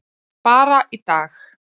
Bara í dag.